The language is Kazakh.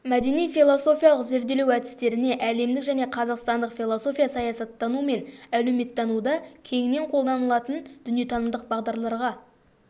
мәдени-философиялық зерделеу әдістеріне әлемдік және қазақстандық философия саясаттану мен әлеуметтануда кеңінен қолданатын дүниетанымдық бағдарларға